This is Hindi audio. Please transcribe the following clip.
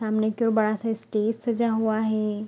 सामने के ओर बड़ा सा स्टेज सजा हुआ हे।